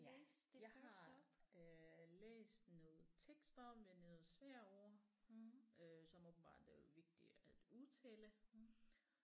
Ja jeg har øh læst noget tekst op med noget svære ord øh som åbenbart er vigtige at udtale